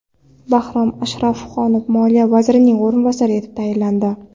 Bahrom Ashrafxonov Moliya vazirining o‘rinbosari etib tayinlandi.